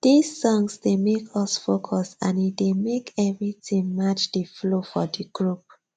this songs dey make us focus and e dey make every tin match the flow for the group